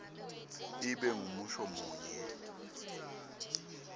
ibe ngumusho munye